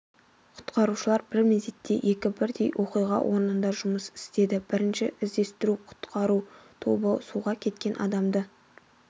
құтқарушылар бір мезетте екі бірдей оқиға орнында жұмыс істеді бірінші іздестіру-құтқару тобы суға кеткен адамды